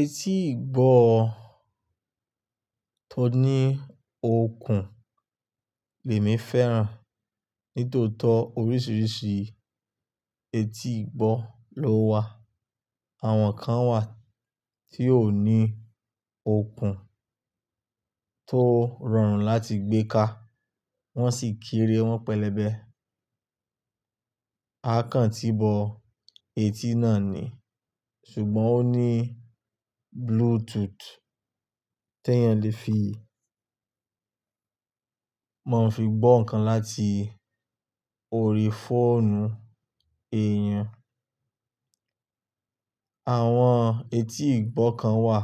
Etí ìgbọ́ tó ní okùn lèmi fẹ́ràn. Nítòótó oríṣìíríṣìí etí ìgbọ́ ló wà. Àwọn kan wà tí ó ní okùn tó rọrùn láti gbé ká, wọ́n sì kiri wọ́n pẹlẹbẹ. Akàn ti bọ etí náà ni, ṣùgbọ́n ó ní Bluetooth tí èèyàn lè fi, máa ń fi gbọ́ ǹkan láti orí fóònù èèyàn. Àwọn etí ìgbọ́ kan wà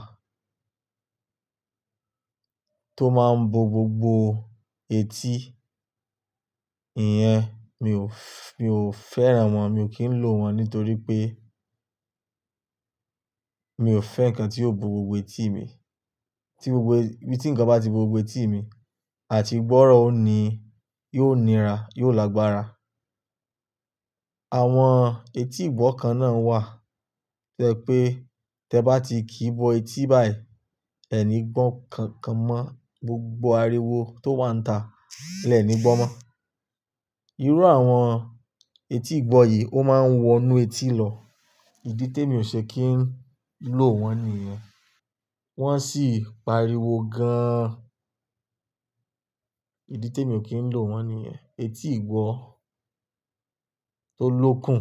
tó máa ń bo gbogbo etí. Ìyẹn mi ò, mi ò fẹ́ràn wọ́n, mi ò kí ń lò wọ́n nítorí pé mi ò fẹ́ ǹkan tí yóò bo gbogbo etí mi. Tí gbogbo, tí ǹkan bá ti bo gbogbo etí mi, àti ìgbọ́ràn ó ni, yóò nira, yóò lágbára. Àwọn etí ìgbọ́ kan náà wà tẹ́ pé, tẹ bá ti kí bọ etí báyìí, ẹ nígbọ́n kankan mọ́, gbogbo ariwo tó wà níta lẹ nígbọ́n mọ́. Irú àwọn etí ìgbọ́ yìí ó máa ń wọ inú etí lọ. Ìdí tí mi ò ṣe kí ń lò wọ́n nìyẹn. Wọ́n sì pariwo gaan. Ìdí tí mi ò kí ń lò wọ́n nìyẹn. Etí ìgbọ́ tó lókun,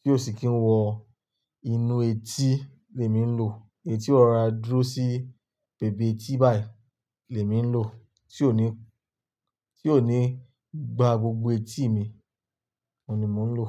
tí ó sì kí ń wọ inú etí lè mi ń lò. Etí ọ̀rá dúró sí bẹbẹ etí báyìí lè mi ń lò, tí ó ní, tí ó ní gba gbogbo etí mi, òun ni mò ń lò.